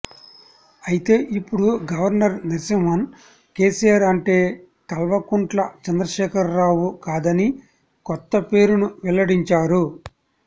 అయితే ఇప్పుడు గవర్నర్ నర్సింహ్మన్ కేసిఆర్ అంటే కల్వకుంట్ల చంద్రశేఖరరావు కాదని కొత్త పేరును వెల్లడించారు